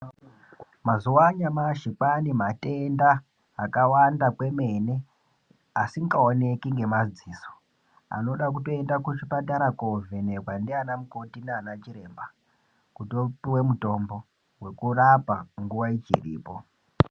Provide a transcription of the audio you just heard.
Mazuano yenyamashi ,kwaanematenda akawanda komene ,asingawoneki nemadziso anoda kutoenda kuchipatara kovhenekwa ndiaana mukoti naana chiremba. Kutiwopiwe mutombo wekurapa nguva ichiripo.